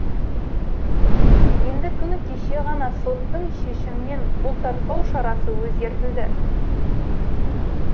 енді күні кеше ғана соттың шешімімен бұлтартпау шарасы өзгертілді